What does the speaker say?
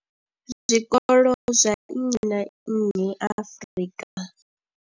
zwikolo zwa nnyi na nnyi Afrika.